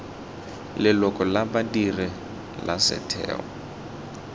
leloko la badiri la setheo